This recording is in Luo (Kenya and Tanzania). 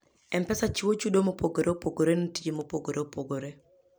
M-Pesa chiwo chudo mopogore opogore ne tije mopogore opogore.